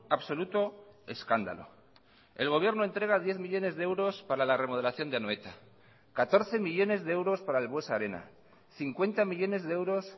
absoluto escándalo el gobierno entrega diez millónes de euros para la remodelación de anoeta catorce millónes de euros para el buesa arena cincuenta millónes de euros